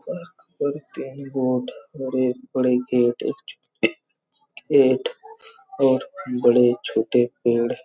park पर तीन boat बड़े-बड़े गेट एक छोटे गेट और बड़े-छोटे पेड़--